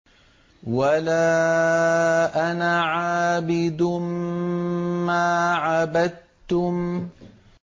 وَلَا أَنَا عَابِدٌ مَّا عَبَدتُّمْ